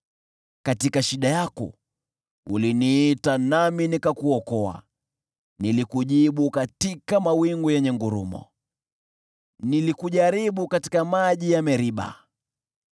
Katika shida yako uliniita nami nikakuokoa, nilikujibu katika mawingu yenye ngurumo; nilikujaribu katika maji ya Meriba.